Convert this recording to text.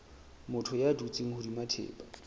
motho ya dutseng hodima thepa